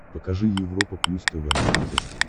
покажи европа плюс тв на смотрешке